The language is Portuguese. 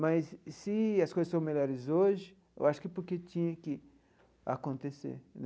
Mas, se as coisas são melhores hoje, eu acho que porque tinha que acontecer.